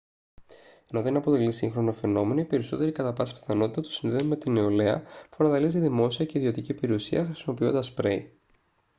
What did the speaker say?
ενώ δεν αποτελεί σύγχρονο φαινόμενο οι περισσότεροι κατά πάσα πιθανότητα το συνδέουν με τη νεολαία που βανδαλίζει δημόσια και ιδιωτική περιουσία χρησιμοποιώντας σπρέι